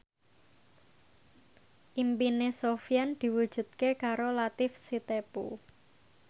impine Sofyan diwujudke karo Latief Sitepu